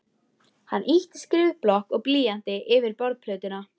Hann ýtti skrifblokk og blýanti yfir borðplötuna.